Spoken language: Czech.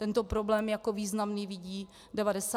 Tento problém jako významný vidí 91 % ředitelů.